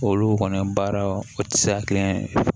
Olu kɔni baaraw o ti se ka kɛ kelen ye